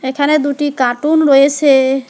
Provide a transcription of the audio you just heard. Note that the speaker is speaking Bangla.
এখানে দুটি কার্টুন রয়েসে ।